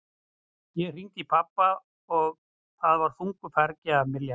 Ég hringdi í pabba og það var þungu fargi af mér létt.